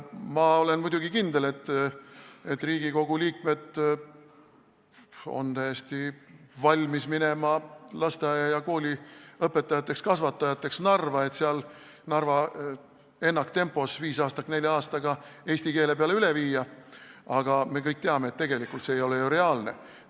Ma olen muidugi kindel, et Riigikogu liikmed on valmis minema lasteaia- ja kooliõpetajateks Narva, et seal ennaktempos viisaastak nelja aastaga ära teha ja kõik eesti keelele üle viia, aga me kõik teame, et tegelikult see ei ole ju reaalne.